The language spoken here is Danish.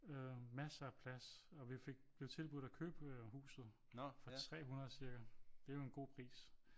Øh massere af plads og vi blev tilbudt at købe huset for 300 cirka det er jo en god pris